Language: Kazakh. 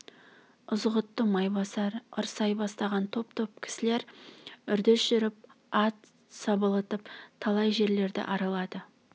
ызғұтты майбасар ырсай бастаған топ-топ кісілер үрдіс жүріп ат сабылтып талай жерлерді аралады